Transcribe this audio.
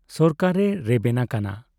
ᱥᱚᱨᱠᱟᱨᱮ ᱨᱮᱵᱮᱱ ᱟᱠᱟᱱᱟ ᱾